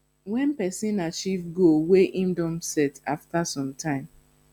when person achieve goal wey im don set after some time